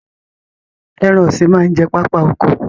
Ẹran ọ̀sìn máa ń jẹ pápá oko